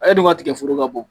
E dun ka tigɛ foro ka bon